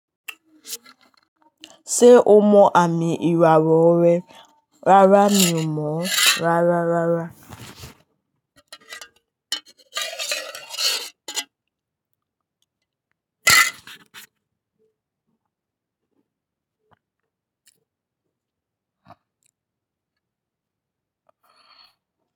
Ṣé o mọ àmì ìràwọ̀ rẹ? Rárá mi ò mọ̀. Rárá rárá.